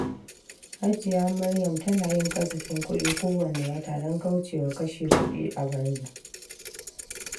Hajiya Maryam tana yin kasafin kuɗi kowanne wata don kauce wa kashe kuɗi a banza.